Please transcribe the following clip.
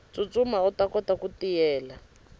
tsutsuma uta kota ku tiyela